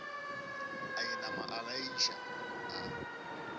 a inama a laiša a